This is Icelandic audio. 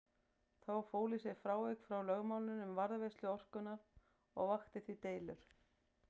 Það fól í sér frávik frá lögmálinu um varðveislu orkunnar og vakti því deilur.